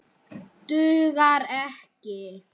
Dugar ekki!